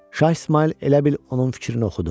Şah İsmayıl elə bil onun fikrini oxudu.